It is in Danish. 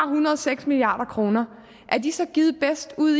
hundrede og seks milliard kroner er de så givet bedst ud